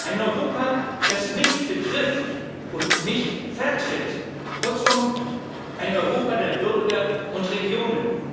Ein Europa, das mich betrifft und mich vertritt. Kurzum ein Europa der Bürger und Regionen.